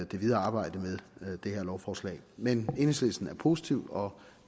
det videre arbejde med det her lovforslag men enhedslisten er positiv og